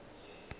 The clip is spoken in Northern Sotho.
ge o sa rate go